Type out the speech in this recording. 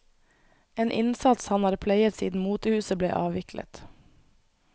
En innsats han har pleiet siden motehuset ble avviklet.